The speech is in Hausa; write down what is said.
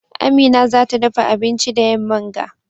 Amina za ta dafa abinci da yamman ga.